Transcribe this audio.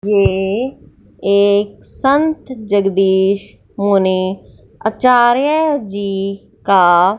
ये एक संत जगदीश मुनि आचार्य जी का--